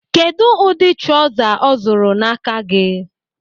Kedụ ụdị trọza ọ zụrụ n'aka gị?